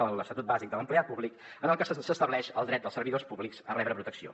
fde l’estatut bàsic de l’empleat públic en el que s’estableix el dret dels servidors públics a rebre protecció